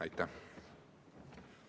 Aitäh!